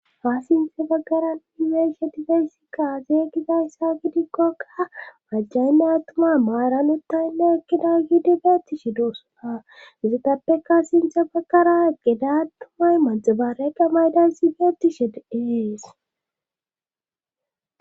Ha sinthe baggara unimeshetifeyssi kaaze gizayssa gidikkoka majjaynne attuma maaranuttaynne ekkida giidibeettishi dossona izatappeka sinthe baggara gedatumay maxaba reqa maydan sibeettishe dees.